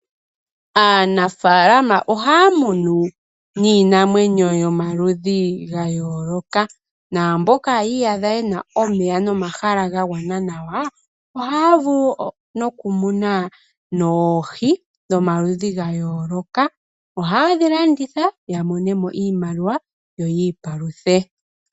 Aanafalama ohaya munu iinamwenyo yomaludhi ga yooloka, naamboka yi iyadha yena omeya nomahala ga gwana nawa ohaya vulu noku muna oohi dhoma ludhi ga yooloka, ohayedhi landitha ya mone mo iimaliwa yo yi ipaluthe.